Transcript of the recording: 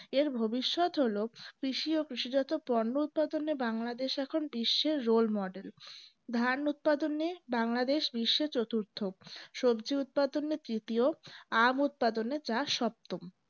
এর ভবিষ্যৎ হলো কৃষি ও কৃষিজাত পণ্য উৎপাদনে বাংলাদেশে এখন বিশ্বের role model ধান উৎপাদনে বাংলাদেশ বিশ্ব চতুর্থ সবজি উৎপাদনে তৃতীয় আম উৎপাদনে যা সপ্তম